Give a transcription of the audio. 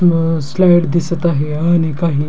व स्लाईड दिसत आहे आणि काही--